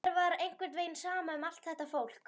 Mér var einhvern veginn sama um allt þetta fólk.